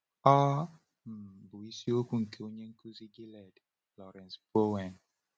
Ọ um bụ isiokwu nke onye nkuzi Gilead, Lawrence Bowen.